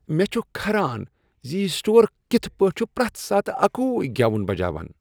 مےٚ چھ کھران ز یہ سٹور کتھ پٲٹھۍ چھ پرٛیتھ ساتہٕ اکُے گیون بجاوان۔